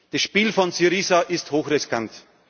legen. Das Spiel von Syriza ist hochriskant.